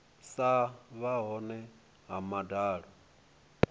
sa vha hone ha madalo